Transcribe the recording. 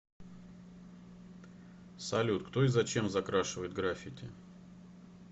салют кто и зачем закрашивает граффити